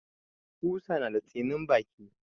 Ƙusa na da tsinin baki.